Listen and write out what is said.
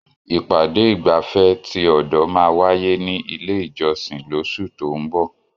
Ìpàdé ìgbafẹ́ ti ọ̀dọ̀ máa wáyé ní ilé ìjọsìn lóṣù tó ún bọ̀.